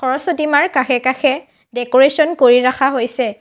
সৰস্বতী মাৰ কাষে কাষে ডেক'ৰেছন কৰি ৰাখা হৈছে।